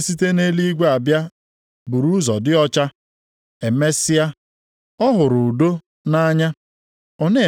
Nʼihi nʼebe ọbụla obi ilu na ekworo dị, ebe ahụ ka ọgbaaghara na omume ọjọọ niile dị.